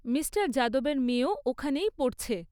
Mister যাদবের মেয়েও ওখানেই পড়ছে।